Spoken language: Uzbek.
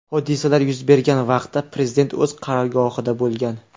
Hodisalar yuz bergan vaqtda prezident o‘z qarorgohida bo‘lgan.